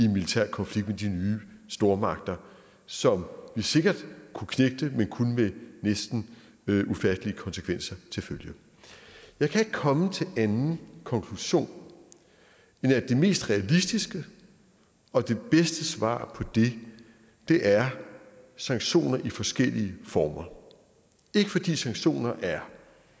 militær konflikt med de nye stormagter som vi sikkert kunne knægte men kun med næsten ufattelige konsekvenser til følge jeg kan ikke komme til anden konklusion end at det mest realistiske og det bedste svar på det det er sanktioner i forskellige former ikke fordi sanktioner er